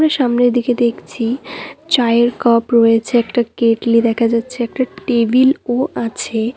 সামনের দিকে দেখছি চায়ের কাপ রয়েছে একটা কেটলি দেখা যাচ্ছে একটা টেবিল -ও আছে।